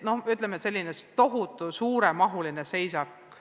See oleks selline tohutu suuremahuline seisak.